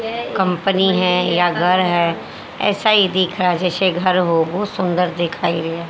company है या घर है ऐसा ही दिख रहा जैसे घर हो बहोत सुंदर दिखाइ रहा--